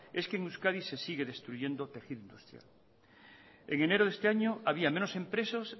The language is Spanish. es que en euskadi se sigue destruyendo tejido industrial en enero de este año había menos empresas